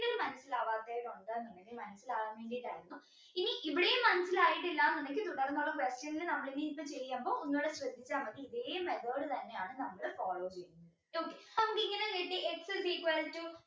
മനസിലാവാതെ ഉണ്ട് എന്നുണ്ടെങ്കിൽ മനസ്സിലാവാൻ വേണ്ടീട്ടായിരുന്നു ഇനി ഇവിടെയു മനസിലായിട്ടില്ല എന്നുണ്ടെങ്കിൽ question ൽ നമ്മൾ ഇനി ഇപ്പൊ ചെയ്യുമ്പോൾ ഒന്നൂടി ശ്രെദ്ദിച്ച മതി ഇതേ method തന്നെയാണ് നമ്മള് follow ചെയ്യുന്നത് okay നമുക്ക് ഇങ്ങനെ കിട്ടി x is equal to